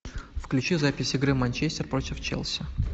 включи запись игры манчестер против челси